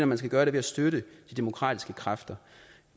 man skal gøre det ved at støtte de demokratiske kræfter